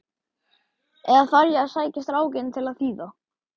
Eða þarf ég að sækja strákinn til að þýða?